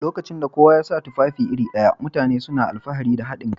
Lokacin da kowa ya sa tufafi iri ɗaya, mutane suna alfahari da haɗin kai